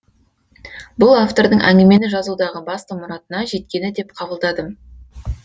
бұл автордың әңгімені жазудағы басты мұратына жеткені деп қабылдадым